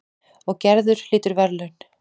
Og Gerður hlýtur verðlaun.